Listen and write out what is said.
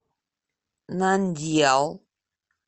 нандьял